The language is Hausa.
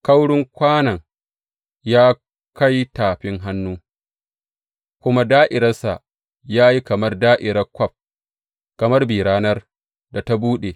Kaurin kwanon ya kai tafin hannu, kuma da’iransa ya yi kamar da’iran kwaf, kamar bi ranar da ta buɗe.